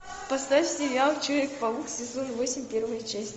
поставь сериал человек паук сезон восемь первая часть